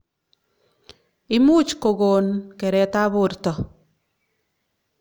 Imuch kokon keret ab borto.